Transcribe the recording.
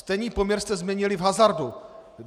Stejný poměr jste změnili v hazardu.